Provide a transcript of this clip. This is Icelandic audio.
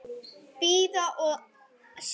Bíða og sjá.